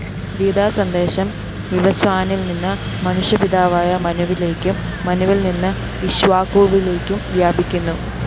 ഗീതാസന്ദേശം വിവസ്വാനില്‍നിന്ന് മനുഷ്യപിതാവായ മനുവിലേക്കും മനുവില്‍നിന്ന് ഇക്ഷ്വാകുവിലേക്കും വ്യാപിക്കുന്നു